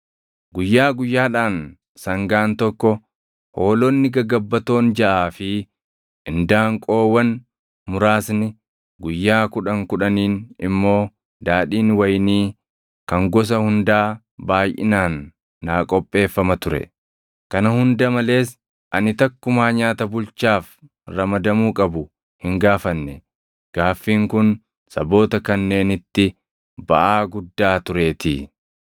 Guyyaa guyyaadhaan sangaan tokko, hoolonni gagabbatoon jaʼaa fi indaanqoowwan muraasni, guyyaa kudhan kudhaniin immoo daadhiin wayinii kan gosa hundaa baayʼinaan naa qopheeffama ture. Kana hunda malees ani takkumaa nyaata bulchaaf ramadamuu qabu hin gaafanne; gaaffiin kun saboota kanneenitti baʼaa guddaa tureetii.